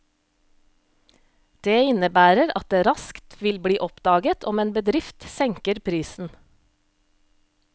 Det innebærer at det raskt vil bli oppdaget om en bedrift senker prisen.